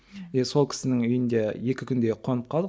е сол кісінің үйінде екі күндей қонып қалдық